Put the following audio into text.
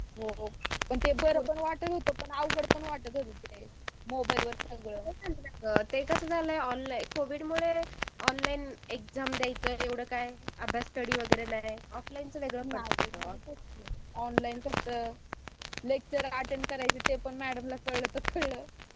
पण ते बरोबर नाही वाटतं होतं ते मोबाईलवर सगळं. ते कसं झालं कोरोनामुळें ऑनलाईन एक्साम द्याच काय स्टडी नाही. ऑफलाईनच वगैरे बरं होत. लेक्चर अटेंड करायचं ते पण मॅडम ला कळलं तर कळलं